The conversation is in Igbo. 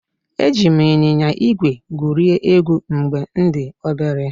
Eji m ịnyịnya ígwè gwurie egwu mgbe m dị obere